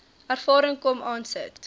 ervaring kom aansit